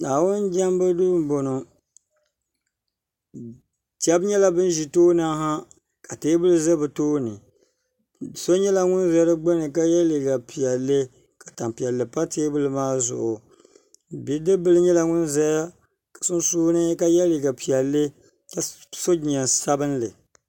naawuni jemibu so n bɔŋɔ shɛbi nyɛla bɛn ʒɛ tuuni ha ka tɛbuli ʒɛ bi tuuni so nyɛla ŋɔ za di gbani ka yɛ liga piɛli ka tam piɛli pa tɛbuli maa zuɣ bidibila nyɛla ŋɔ zaya sunsuuni ka yɛ liga piɛli ka so jinjam sabinli